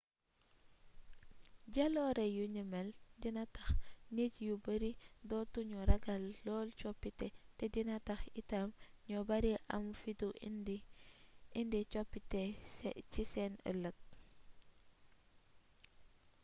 jaloore yu ni mel dina tax nit ñu bari dootu ñu ragal lool coppite te dina tax itam ñu bari am fitu indi coppite ci seen ëlëg